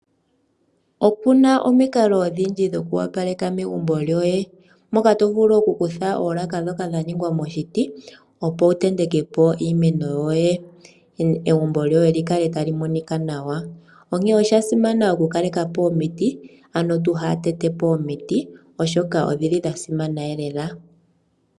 Opuna omikalo odhindji dhoku opaleka megumbo lyoye, moka tovulu okukutha oolaka ndhoka dhaningwa moshiti opo wutentekepo iimeno yoye egumbo lyoye likale talimonika nawa, osha simana okukalekapo omiti ano inatu tetapo omiti omolwashoka odha simana lela.